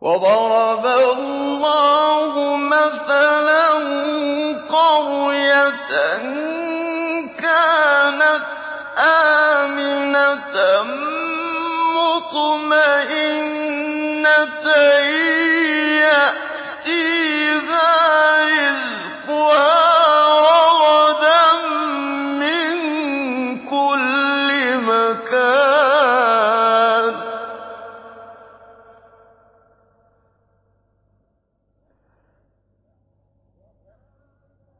وَضَرَبَ اللَّهُ مَثَلًا قَرْيَةً كَانَتْ آمِنَةً مُّطْمَئِنَّةً